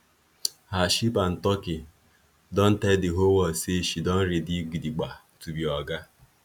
her sheep and turkey don tell the whole world say she don ready gidigba to be oga